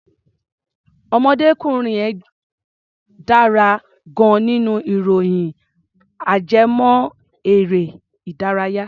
Ọ̀mọdékùnrin yẹn dára gan-an nínú ìròyìn ajẹ́mọ́-erẹ́-ìdárayá.